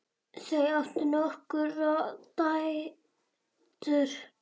Þau áttu nokkrar dætur.